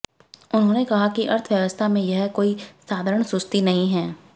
उन्होंने कहा कि अर्थव्यवस्था में यह कोई साधारण सुस्ती नहीं है